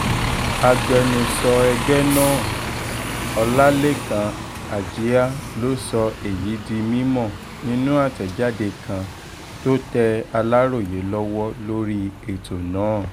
agbẹnusọ ẹgbẹ́ náà ọlálẹ́kan àjíá ló sọ èyí di mímọ́ nínú àtẹ̀jáde kan tó tẹ aláròye lọ́wọ́ lórí ètò náà